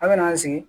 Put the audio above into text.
An bɛna an sigi